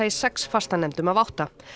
í sex fastanefndum af átta